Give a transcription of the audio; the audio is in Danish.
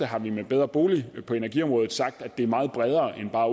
har vi med bedrebolig på energiområdet sagt at det er meget bredere end bare